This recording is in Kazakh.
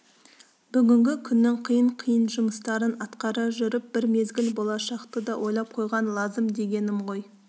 бүгінгі күннің қиын-қиын жұмыстарын атқара жүріп бір мезгіл болашақты да ойлап қойған лазым дегенім ғой